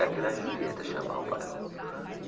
A Gran Julieta chama o bairro.